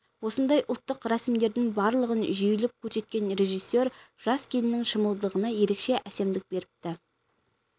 осындай ұлттық рәсімдердің барлығын жүйелеп көрсеткен режиссер жас келіннің шымылдығына ерекше әсемдік беріпті